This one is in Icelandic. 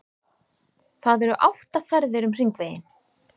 Það eru átta ferðir um Hringveginn.